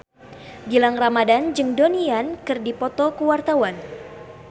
Gilang Ramadan jeung Donnie Yan keur dipoto ku wartawan